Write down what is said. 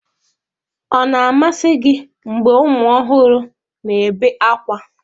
Ọ na-amasị gị mgbe ụmụ ọhụrụ na-ebe ákwá?